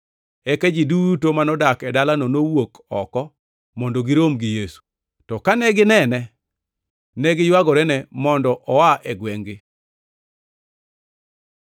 Eka ji duto manodak e dalano nowuok oko mondo girom gi Yesu. To kane ginene, negiywagorene mondo oa e gwengʼ-gi.